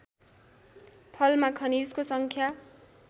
फलमा खनिजको सङ्ख्या